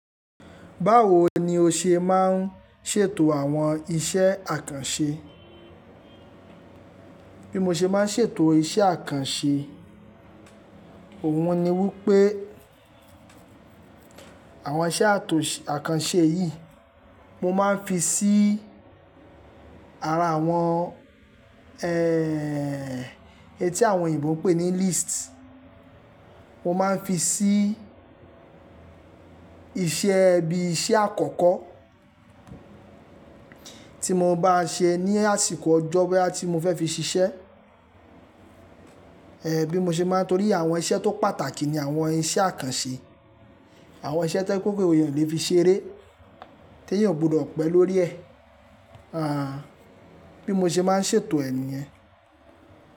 Báwo ni o ṣe máa ń ṣètò àwọn iṣẹ́ àkànṣe? Bí mo ṣe máa ń ṣètò iṣẹ́ àkànṣe, òun ni wípé àwọn iṣẹ́ àtò-- àkànṣe yìí mo máa ń fi sí ara àwọn, etí àwọn òyìnbó ń pè ní list. Mo máa ń fi sí iṣẹ́ bí iṣẹ́ àkọ́kọ́ tí mo bá ṣe ní àsìkò ọjọ́ boya tí mo fẹ́ fi ṣiṣẹ́. Bí mo ṣe máa ń tórí àwọn iṣẹ́ tó pàtàkì ni àwọn iṣẹ́ àkànṣe. Àwọn iṣẹ́ toyepẹ kúkú pé èèyàn lè fi ṣeré tí èèyàn kò gbọdọ̀ pẹ́ lórí ẹ̀. Bí mo ṣe máa ń ṣètò ẹ̀ ni yẹn.